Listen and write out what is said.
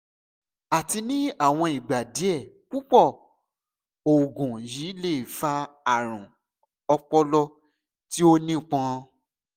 àti ni awọn igba diẹ pupọ oògùn yii le fa arun ọpọlọ ti o nipọn